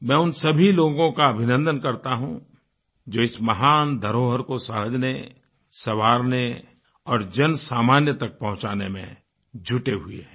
मैं उन सभी लोगों का अभिनन्दन करता हूँ जो इस महानधरोहर को सह्ज़ने सँवारने और जन सामान्य तक पहुँचाने में जुटे हुए हैं